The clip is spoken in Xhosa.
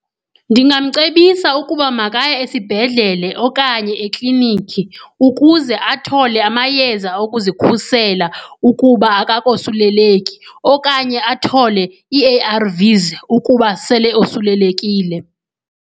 Ndingamcebisa ukuba makaye esibhedlele okanye eklinikhi ukuze athole amayeza okuzikhusela ukuba akakosuleleki okanye athole i-A_R_Vs ukuba sele osulelekile.